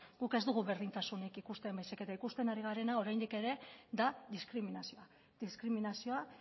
guk ez dugu berdintasunik ikusten baizik eta ikusten ari garena oraindik ere da diskriminazioa diskriminazioa